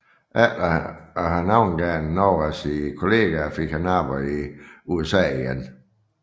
Efter at have navngivet nogle af sine kolleger fik han arbejde i USA igen